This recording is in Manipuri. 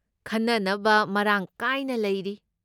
ꯈꯟꯅꯅꯕ ꯃꯔꯥꯡ ꯀꯥꯏꯅ ꯂꯩꯔꯤ꯫